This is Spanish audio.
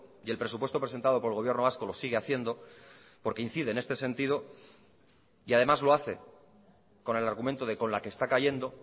y el presupuesto presentado por el gobierno vasco lo sigue haciendo porque incide en este sentido y además lo hace con el argumento de con la que está cayendo